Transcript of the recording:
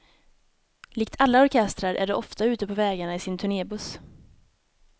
Likt alla orkestrar är de ofta ute på vägarna i sin turnébuss.